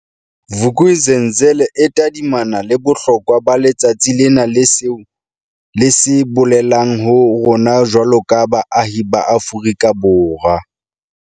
Vuk'uzenzele e tadimana le bohlokwa ba letsatsi lena le seo le se bolelang ho rona jwaloka baahi ba Afrika Borwa.